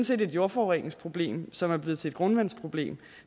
set et jordforureningsproblem som er blevet til et grundvandsproblem